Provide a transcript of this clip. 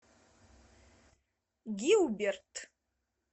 гилберт